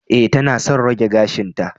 E, tana son rage gashinta